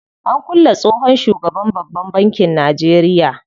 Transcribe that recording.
An kulle tsohon shugaban babban bankin Najeria.